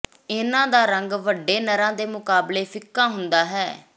ਇਨ੍ਹਾਂ ਦਾ ਰੰਗ ਵੱਡੇ ਨਰਾਂ ਦੇ ਮੁਕਾਬਲੇ ਫਿੱਕਾ ਹੁੰਦਾ ਹੈ